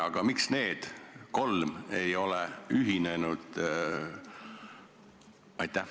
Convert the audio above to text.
Aga miks need kolm ei ole ühinenud?